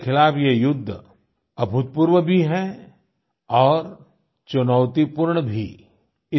corona के ख़िलाफ़ ये युद्ध अभूतपूर्व भी है और चुनौतीपूर्ण भी